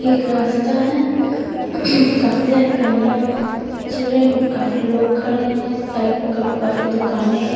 ये एक रास्ता है काफी सारी गाड़ियां चल रही काफी लोग खड़े हैं साइड में काफी दुकाने हैं।